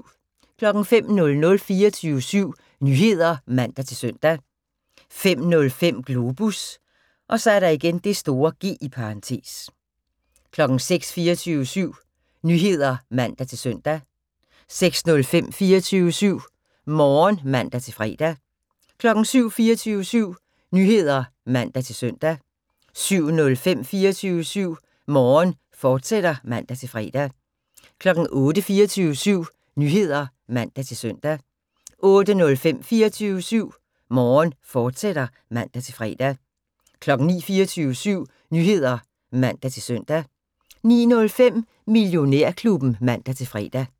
05:00: 24syv Nyheder (man-søn) 05:05: Globus (G) 06:00: 24syv Nyheder (man-søn) 06:05: 24syv Morgen (man-fre) 07:00: 24syv Nyheder (man-søn) 07:05: 24syv Morgen, fortsat (man-fre) 08:00: 24syv Nyheder (man-søn) 08:05: 24syv Morgen, fortsat (man-fre) 09:00: 24syv Nyheder (man-søn) 09:05: Millionærklubben (man-fre)